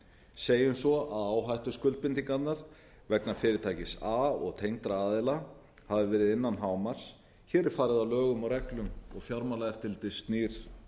segjum svo að áhættuskuldbindingarnar vegna fyrirtækis a og tengdra aðila hafi verið innan hámarks hér er farið að lögum og reglum fjármálaeftirlitið snýr